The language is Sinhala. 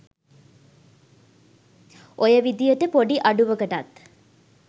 ඔය විදියට පොඩි අඩුවකටත්